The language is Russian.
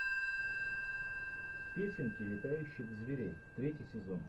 песенки летающих зверей третий сезон